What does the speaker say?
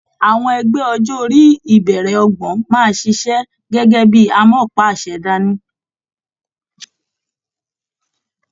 Àwọn ẹgbẹ ọjọ orí ibẹrẹ ọgbọ́n máa ṣiṣẹ gẹgẹ bíi amọ̀páàṣẹ dání.